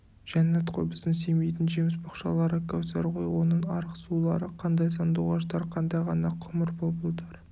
жәннат қой біздің семейдің жеміс-бақшалары кәусар ғой оның арық сулары қандай сандуғаштар қандай ғана құмыр бұлбұлдар